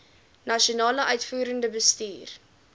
nasionale uitvoerende bestuur